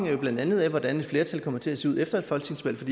jo blandt andet af hvordan et flertal kommer til at se ud efter et folketingsvalg for